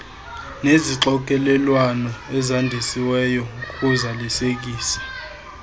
nezixokelelwano ezandisiweyo ngokuzalisekisa